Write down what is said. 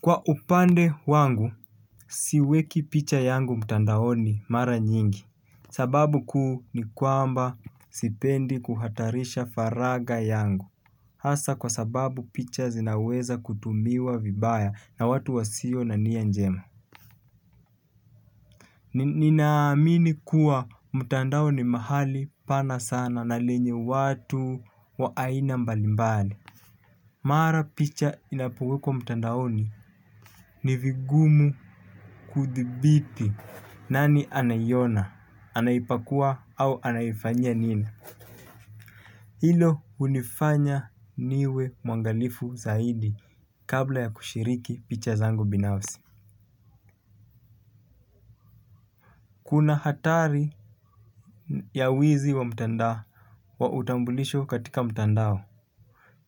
Kwa upande wangu siweki picha yangu mtandaoni mara nyingi. Sababu kuu ni kwamba sipendi kuhatarisha faraga yangu. Hasa kwa sababu picha zinaweza kutumiwa vibaya na watu wa sio na nia njema. Ninaamini kuwa mtandao ni mahali pana sana na lenye watu wa aina mbalimbali. Mara picha inapowekwa mtandaoni ni vigumu kudhibiti. Nani anaiona? Anaipakua au anaifanyanyia nini? Hilo hunifanya niwe mwangalifu zaidi kabla ya kushiriki picha zangu binafsi. Kuna hatari ya wizi wa mtandao wa utambulisho katika mtandao.